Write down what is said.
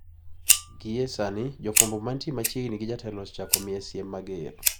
Gie sani jofwambo mantie machiegni gi jatelono osechako miye siem mager.